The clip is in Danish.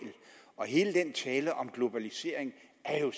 og hele den tale om globalisering er jo